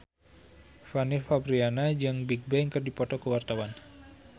Fanny Fabriana jeung Bigbang keur dipoto ku wartawan